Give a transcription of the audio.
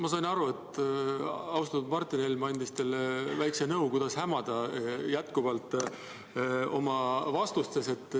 Ma sain aru, et austatud Martin Helme andis teile väikse nõu, kuidas jätkuvalt oma vastustes hämada.